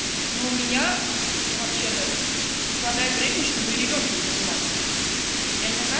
но у меня вообще-то не хватает времени чтобы и ребёнком заниматься я не такая